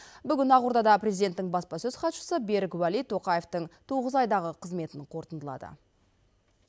бүгін ақордада президенттің баспасөз хатшысы берік уәли тоқаевтың тоғыз айдағы қызметін қорытындылады